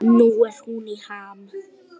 Nú er hún í ham.